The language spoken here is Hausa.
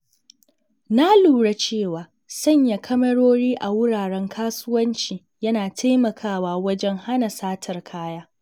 Na lura cewa sanya kyamarori a wuraren kasuwanci yana taimakawa wajen hana satar kaya.